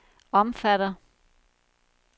omfatter